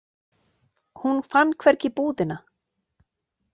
Hún fann hvergi búðina.